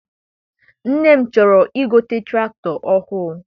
nne m chọrọ I gote tụractọr ọhụụ.